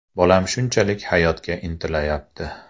Bolam shunchalik hayotga intilayapti.